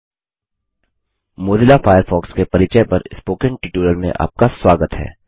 Mozilla Firefox Mozilla Firefox के परिचय पर स्पोकन ट्यूटोरियल में आपका स्वागत है